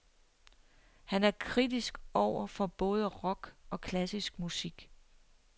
Han er kritisk over for både rock og klassisk musik.